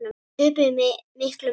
Þeir töpuðu með miklum mun.